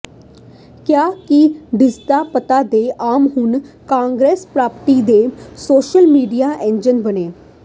ਕਿਹਾ ਕਿ ਢੀਂਡਸਾ ਧੜਾ ਤੇ ਆਪ ਹੁਣ ਕਾਂਗਰਸ ਪਾਰਟੀ ਦੇ ਸੋਸ਼ਲ ਮੀਡੀਆ ਏਜੰਟ ਬਣੇ